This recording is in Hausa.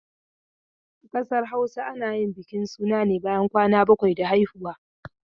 A ƙasar Hausa ana bukin suna ne bayan kwan bakwai da haihuwa.